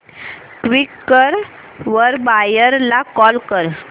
Quikr वर buyer ला call कर